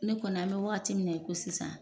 Ne kɔni a bɛ wagati min na i ko sisan